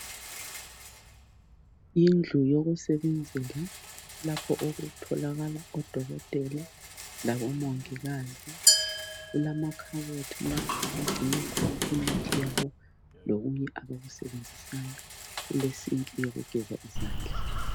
Yindlu yokusebenzela lapho okutholakala odokotela labomongikazi . Kulamakhabothi lapho okugcinwa khona imithi yabo lokunye abakusebenzisayo . Kulesinki eyokugeza izandla.